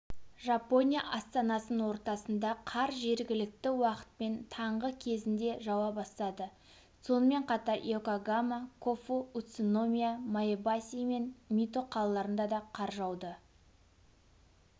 жапония астанасының ортасында қар жергілікті уақытпен таңғы кезінде жауа бастады сонымен қатарйокогама кофу уцуномия маэбаси мен мито қалаларында да қар жауды